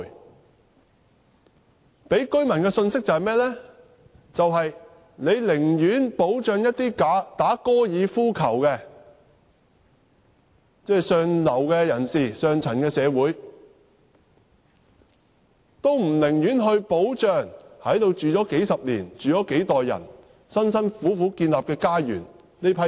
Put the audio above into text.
政府給予居民的信息是，政府寧願保障打高爾夫球的上流社會人士，也不願保障在這裏居住了數十年、數代人辛苦建立家園的人。